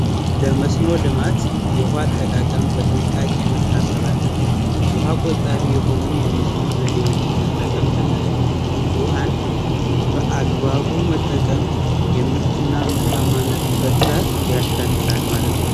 የመስኖ ልማት የውሃ አጠቃቀም በጥንቃቄ መታሰብ አለበት ውሃ ቆጣቢ የሆኑ የመስኖ ዘዴዎችን መጠቀም ተገቢ ነው። ውሃን በአግባቡ መጠቀም የምርት እና ምርት እና ምርታማነትን በጥራት ያሻሽላል ማለት ነው።